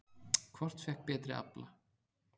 Hvort fékk betri afla?